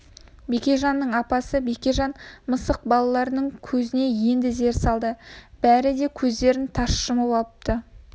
бекежанның апасы бекежан мысық балаларының көзіне енді зер салды бәрі де көздерін тарс жұмып алыпты